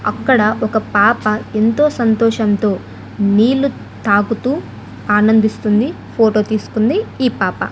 అక్కడ ఒక పాప ఎంతో సంతోషంతో నీళ్ళు తాకుతూ ఆనందిస్తుంది ఫోటో తీసుకుంది ఈ పాప.